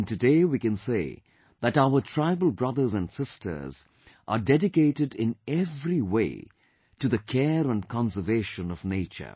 Even today we can say that our tribal brothers and sisters are dedicated in every way to the care and conservation of nature